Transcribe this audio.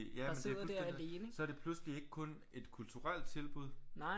Ja men det er fuldstændig så er det pludselig ikke kun et kulturelt tilbud